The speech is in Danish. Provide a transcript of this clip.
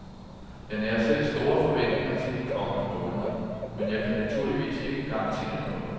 Jeg nærer selv store forventninger til de kommende måneder, men jeg kan naturligvis ikke garantere noget.